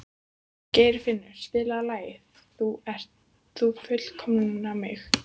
Geirfinnur, spilaðu lagið „Þú fullkomnar mig“.